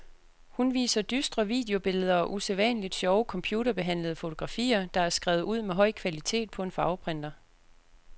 Hun viser dystre videobilleder og usædvanligt sjove computerbehandlede fotografier, der er skrevet ud med høj kvalitet på en farveprinter.